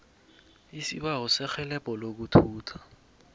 isibawo serhelebho lokuthutha